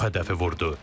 Çox hədəfi vurdu.